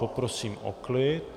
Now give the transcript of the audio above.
Poprosím o klid.